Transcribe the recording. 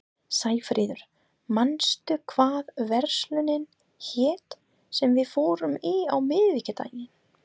Sæfríður, manstu hvað verslunin hét sem við fórum í á miðvikudaginn?